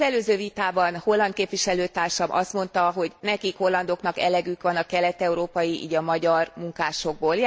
Az előző vitában holland képviselőtársam azt mondta, hogy nekik, hollandoknak elegük van a kelet európai, így a magyar munkásokból.